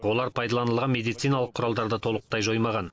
олар пайдаланылған медициналық құралдарды толықтай жоймаған